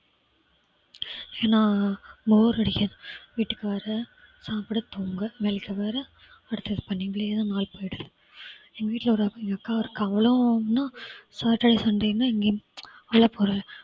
ஏன்னா bore அடிக்குது. வீட்டுக்கு வர சாப்பிட தூங்க night வர அடுத்து இப்படியே வாழ்க்கை போயிடுது. எங்க வீட்ல ஒரு எங்க அக்கா இருக்காங்க அவங்களும் satutday sunday னா எங்கயும் வெளியில போற